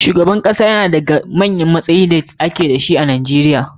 Shugaban kasa yana ɗaya da ga cikin manyan matsayoyin da ake dashi a kasa